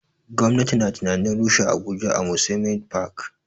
Gwamnati na tunanin rushe abuja amusement park